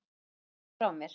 Knúsaðu alla frá mér.